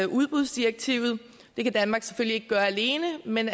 udbudsdirektivet det kan danmark selvfølgelig ikke gøre alene men